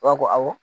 awɔ